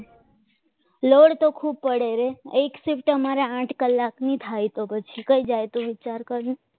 load તો ખૂબ પડે રે એક સીટ તમારે આઠ કલાકની થાય તો પછી કઈ જાય તો વિચાર કર